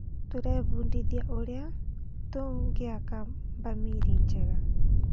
Tũrebundithia ũrĩa tũngĩaka bamĩrĩ njega.